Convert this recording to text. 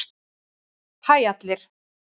Hæ allir!